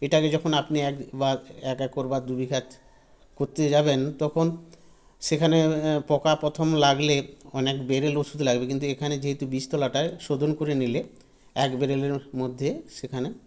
এটাকে যখন আপনি এক বা এক এক করবার দুবিঘাত করতে যাবেন তখন সেখানে এ পকা প্রথম লাগলে অনেক বেড়েল ওষুধ লাগবে কিন্তু এখানে যেহেতু বীজতোলাটায় শোধন করে নিলে এক বেড়েলের মধ্যে সেখানে